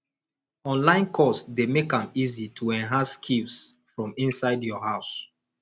online course dey make am easy to enhance skills from inside your house